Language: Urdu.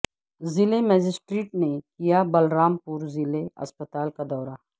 ضلع مجسٹریٹ نے کیا بلرامپور ضلع اسپتال کا دورہ